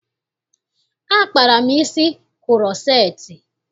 Akpara m isi kuroceti.